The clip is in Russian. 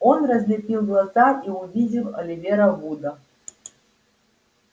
он разлепил глаза и увидел оливера вуда